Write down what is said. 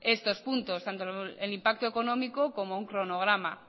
estos puntos tanto el impacto económico como un cronograma